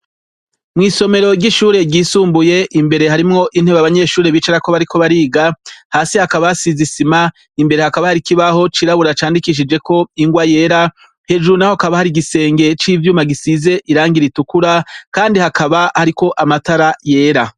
Mwisomero ry'ishure ryisumbuye mbere harimwo intebe abanyeshure bicarako bariko bariga hasi hakaba hasize isima imbere hakaba harimwo ikibaho cirabura candikishijweho ingwa yera hejuru hakaba hari igisenge c'ivyuma gisize irangi ritukura kandi hakaba amatara yera.